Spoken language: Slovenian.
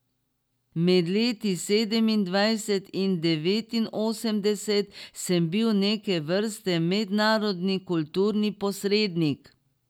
Med leti sedemindvajset in devetinosemdeset sem bil neke vrste mednarodni kulturni posrednik.